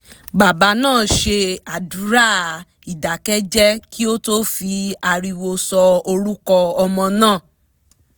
baba náà ṣe àdúrà ìdákẹ́jẹ́ kí ó tó fi ariwo sọ orúkọ ọmọ náà